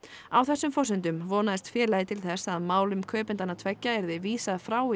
á þessum forsendum vonaðist félagið til þess að málum kaupendanna tveggja yrði vísað frá í